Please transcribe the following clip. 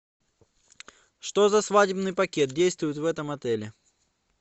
что за свадебный пакет действует в этом отеле